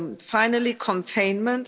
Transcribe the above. Finally, containment.